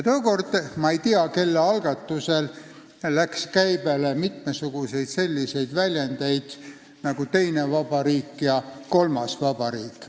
Tookord – ma ei tea, kelle algatusel – läks käibele mitmesuguseid selliseid väljendeid nagu "teine vabariik" ja "kolmas vabariik".